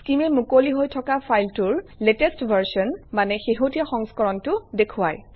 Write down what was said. Skim এ মুকলি হৈ থকা ফাইলটোৰ লেটেষ্ট ভাৰ্চন মানে শেহতীয়া সংস্কৰণটো দেখুৱায়